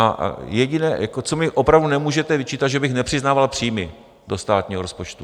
A jediné, co mi opravdu nemůžete vyčítat, že bych nepřiznával příjmy do státního rozpočtu.